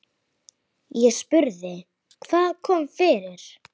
Ég spurði: Hvað kom fyrir?